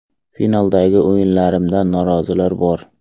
Finaldagi o‘yinlarimdan norozilar bor.